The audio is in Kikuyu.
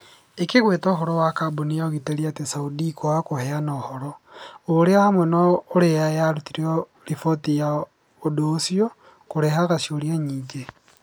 ĩkĩgweta ũhoro wa kambũni ya ũgitĩri atĩ Saudi kwaga kũheana ũhoro, ũira hamwe na ũrĩa yarutire riboti ya ũndũ ũcio, kũrehaga ciũria nyingĩ